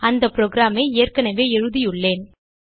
அந்த programஐ ஏற்கனவே எழுதியுள்ளேன்